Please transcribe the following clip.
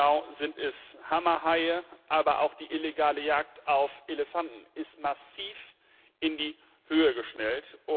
Ganz genau sind es Hammerhaie, aber auch die illegale Jagd auf Elefanten ist massiv in die Höhe geschnellt.